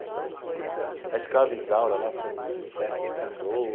Então a Escrava Isaura lá foi um sucesso estrondoso.